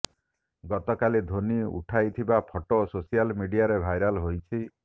ଗତକାଲି ଧୋନୀ ଉଠାଇଥିବା photo social ମିଡିଆରେ ଭାଇରାଲ୍ ହୋଇଛି